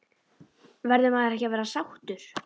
Verður maður ekki að vera sáttur?